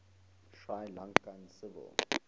sri lankan civil